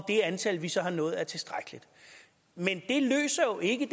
det antal vi så har nået er tilstrækkeligt men det løser jo ikke